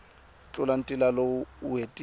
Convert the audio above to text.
tlula ntila loko u hetile